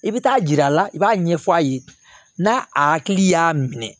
I bɛ taa yira a la i b'a ɲɛfɔ a ye n'a a hakili y'a minɛ